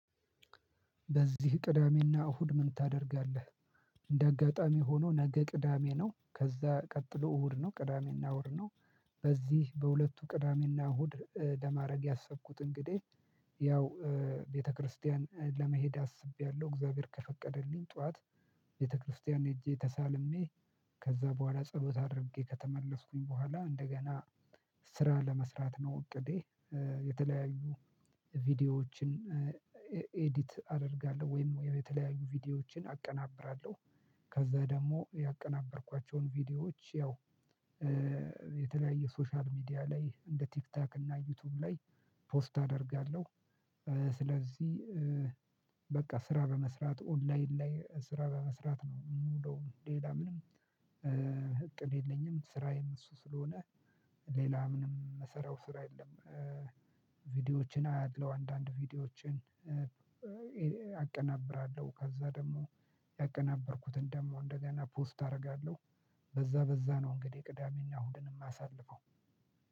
በዚህ ቅዳሜና እሁድ ምን ታደርጋለህ? እንደ አጋጣሚ ሆኖ ነገ ቅዳሜ ነው ከዛ ቀጥሎ እሁድ ነው ቅዳሜና እሁድ ነው። በዚህ በሁለቱ ቅዳሜና እሁድ ለማድረግ ያሰብኩት እንግዲህ ያው ቤተክርስቲያን ለመሄድ አስቤያለሁ እግዚአብሔር ከፈቀደልኝ ጠዋት ቤተክርስቲያን ሄጄ ተሳልሜ ከዛ በኋላ ጸሎት አድርጌ ከተመለስኩኝ በኋላ እንደገና ስራ ለመስራት ነው እቅዴ። የተለያዩ ቪዲዮዎችን ኤዲት አደርጋለሁ ወይም ወይም የተለያዩ ቪዲዮዎችን አቀናብራለሁ። ከዛ ደግሞ ያቀናበርኳቸውን ቪዲዮዎች ያው የተለያየ ሶሻል ሚዲያ ላይ እንደ ቲክታክ እና ዩቲዩብ ላይ ፖስት አደርጋለሁ። ስለዚህ በቃ ስራ በመስራት ኦንላይን ላይ ስራ በመስራት ነው የምውለው። ሌላ ምንም እቅድ የለኝም። ስራዬም እሱ ስለሆነ ሌላ ምንም የምሰራው ስራ የለም። ቪዲዮዎችን አያለው አንዳንድ ቪዲዮዎችን አቀናብራለሁ ከዛ ደግሞ ያቀናበርኩትን ደግሞ እንደገና ፖስት አደርጋለሁ። በዛ በዛ ነው እንግዲህ ቅዳሜና እሁድን ደግሞ የማሳልፈው